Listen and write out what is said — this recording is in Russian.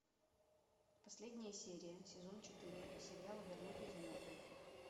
последняя серия сезон четыре сериал вернуть из мертвых